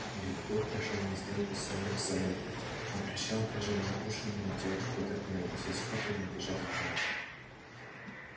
и белый клык пошёл на сделку с самим собой он рычал прижимал уши но не делал попыток ни укусить скотта ни убежать от него